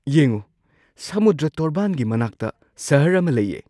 ꯌꯦꯡꯎ! ꯁꯃꯨꯗ꯭ꯔ ꯇꯣꯔꯕꯥꯟꯒꯤ ꯃꯅꯥꯛꯇ ꯁꯍꯔ ꯑꯃ ꯂꯩꯌꯦ‍‍!